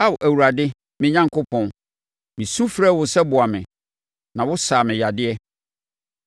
Ao Awurade me Onyankopɔn, mesu frɛɛ wo sɛ boa me na wosaa me yadeɛ.